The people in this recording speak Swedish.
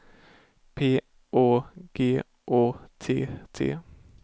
P Å G Å T T